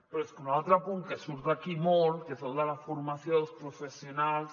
però és que un altre punt que surt aquí molt que és el de la formació dels professionals